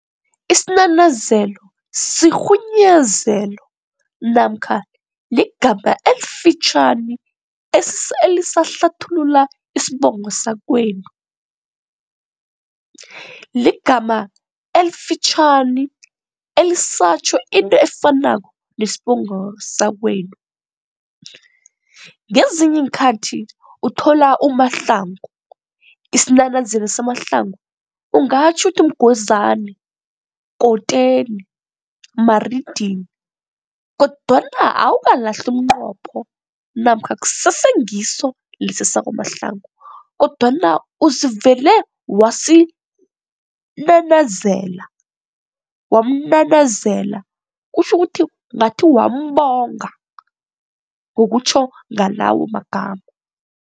Isinanazelo sirhunyezelo namkha ligama elifitjhani elisahlathulula isibongo sakwenu. Ligama elifitjhani elisatjho into efanako nesibongo sakwenu. Ngezinye iinkhathi uthola uMahlangu, isinanazelo saMahlangu ungatjho uthi Mgwezani, Koteni, Maridili kodwana awukalahli umnqopho namkha kusese ngiso lesa sakwaMahlangu kodwana uzivele wasinanazela, wamunanazela kutjho ukuthi ngathi wambonga ngokutjho ngalawo magama.